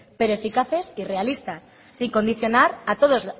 pero eficaces y realistas sin condicionar a todos